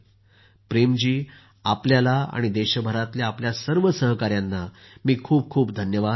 प्रेम जी आपल्याला आणि देशभरातल्या आपल्या सर्व सहकाऱ्यांना मी खूप खूप साधूवाद देतो